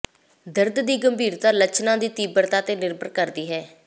ਦਰਦ ਦੀ ਗੰਭੀਰਤਾ ਲੱਛਣਾਂ ਦੀ ਤੀਬਰਤਾ ਤੇ ਨਿਰਭਰ ਕਰਦੀ ਹੈ